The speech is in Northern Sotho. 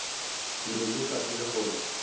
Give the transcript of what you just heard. be ke sa tsebe gore